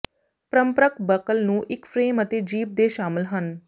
ਪਾਰੰਪਰਕ buckle ਨੂੰ ਇੱਕ frame ਅਤੇ ਜੀਭ ਦੇ ਸ਼ਾਮਲ ਹਨ